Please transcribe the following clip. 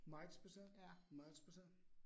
Meget speciel, meget speciel